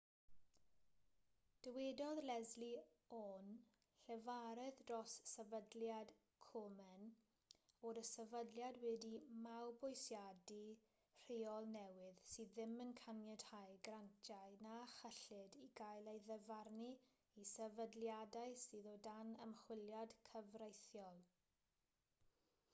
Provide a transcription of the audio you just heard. dywedodd leslie aun llefarydd dros sefydliad komen fod y sefydliad wedi mabwysiadu rheol newydd sydd ddim yn caniatáu grantiau na chyllid i gael ei ddyfarnu i sefydliadau sydd o dan ymchwiliad cyfreithiol